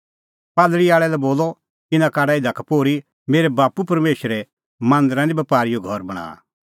कबूतरा आल़ै लै बोलअ इना काढा इधा का पोर्ही मेरै बाप्पू परमेशरे मांदरा निं बपारीओ घर बणांआ